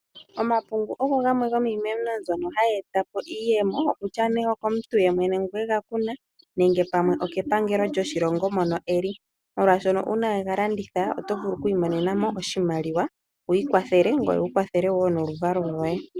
Omapungu ogo gamwe gomiimeno mbyono hayi etapo iiyemo. Kutya nee okomuntu yemwene ngono egakuna, nenge pamwe okepangelo lyoshilongo mono eli. Molwaashono uuna we galanditha oto vulu ku imonenamo oshimaliwa wu ikwathele ngoye wukwathele wo noluvalo lwoye.